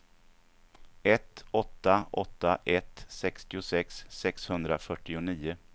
ett åtta åtta ett sextiosex sexhundrafyrtionio